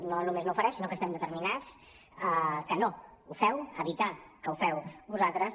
no només no ho farem sinó que estem determinats a que no ho feu a evitar que ho feu vosaltres